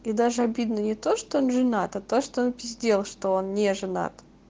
и даже обидно не то что он женат а то что он пиздел что он не женат